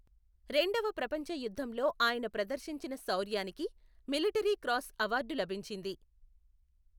రెండవ ప్రపంచ యుద్ధంలో ఆయన ప్రదర్శించిన శౌర్యానికి మిలిటరీ క్రాస్ అవార్డు లభించింది.